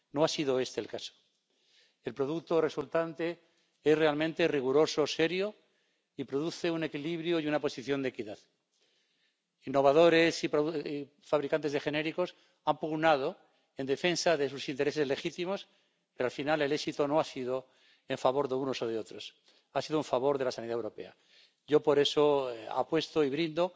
No ha sido este el caso. El producto resultante es realmente riguroso y serio, y produce un equilibrio y una posición de equidad. Innovadores y fabricantes de genéricos han pugnado en defensa de sus intereses legítimos, pero al final el éxito no ha sido en favor de unos o de otros ha sido en favor de la sanidad europea. Yo, por eso, apuesto y brindo